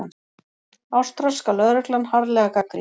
Ástralska lögreglan harðlega gagnrýnd